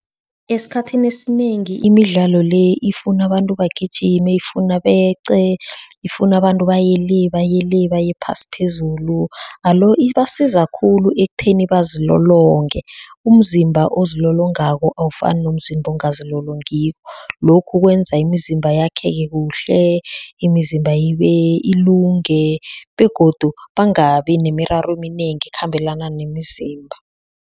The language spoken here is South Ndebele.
Esikhathini esinengi imidlalo le ifuna abantu bagijime, ifuna beqe, ifuna abantu baye le baye le, baye phasi phezulu alo ibasiza khulu ekutheni bazilolonge umzimba ozilolongako awufani nomzimba ongazilolongiko, lokhu kwenza imizimba yakheke kuhle, imizimba ibe ilunge begodu bangabi nemiraro eminengi ekhambelana nemizimba.